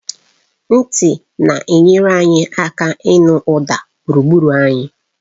Ntị na-enyere aka ịnụ ụda gburugburu anyị